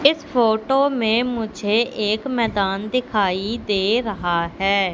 इस फोटो में मुझे एक मैदान दिखाई दे रहा है।